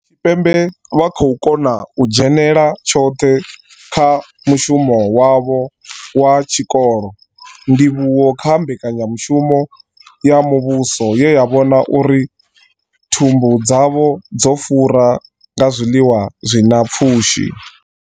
Tshipembe vha khou kona u dzhenela tshoṱhe kha mushumo wavho wa tshikolo, ndivhuwo kha mbekanyamushumo ya muvhuso ye ya vhona uri thumbu dzavho dzo fura nga zwiḽiwa zwi na pfushi.